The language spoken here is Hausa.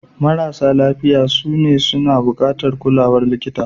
Marasa lafiya sune su ke buƙatar kulawar likita.